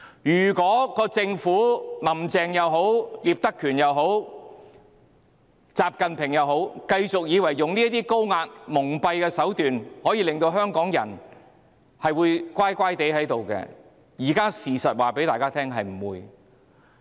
不論"林鄭"、聶德權、習近平，如果政府以為繼續採取這種高壓蒙蔽的手段，香港人便會乖乖聽話，現在事實告訴大家是不會的。